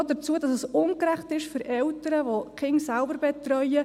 Noch zur Aussage, dass es ungerecht sei für Eltern, welche ihre Kinder selbst betreuen: